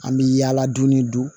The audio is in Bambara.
An bɛ yaala dunni don